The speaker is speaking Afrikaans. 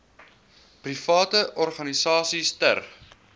private organisasies ter